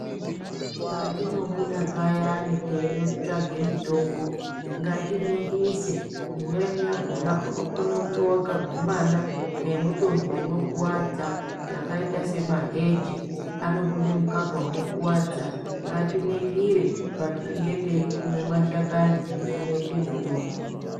Patino buda payani teino tsvage mitombo ngati ningise imweni yakona unokona kunge waka gumana ne mutombo uno kwadza yakaita se maheji anobude mukaka uno kwadza ngati ningire patinenge tei kume ma shakani ekunoite mutombo.